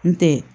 N tɛ